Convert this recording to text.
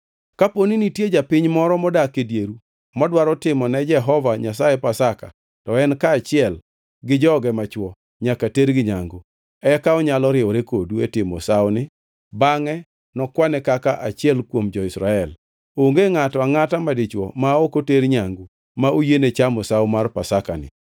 “Koponi nitie japiny moro modak e dieru modwaro timo ne Jehova Nyasaye Pasaka, to en kaachiel gi joge machwo nyaka tergi nyangu, eka onyalo riwore kodu e timo sawoni bangʼe nokwane kaka achiel kuom jo-Israel. Onge ngʼato angʼata madichwo ma ok oter nyangu ma oyiene chamo sawo mar Pasakani.